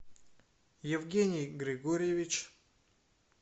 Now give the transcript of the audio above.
евгений григорьевич